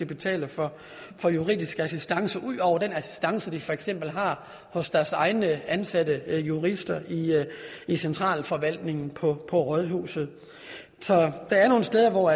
betale for for juridisk assistance ud over den assistance de for eksempel har hos deres egne ansatte jurister i centralforvaltningen på rådhuset så der er nogle steder hvor